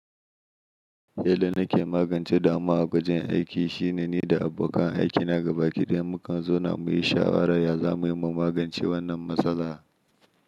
Yadda nake magance damuwa a gwajin aiki shine ni da abokan aikina gaba ki da mu kan zauna mu yi shawarar yadda za mu yi magance wannan matsala.